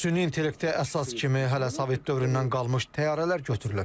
Süni intellektə əsas kimi hələ sovet dövründən qalmış təyyarələr götürülüb.